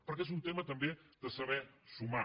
perquè és un tema també de saber sumar